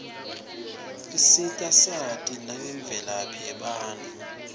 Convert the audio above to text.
isita sati nangemvelaphi yebatfu